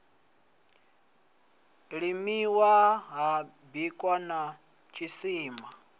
limiwa ha bwiwa na tshisima